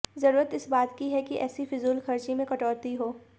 जरूरत इस बात की है कि ऐसी फिजूलखर्ची में कटौती हो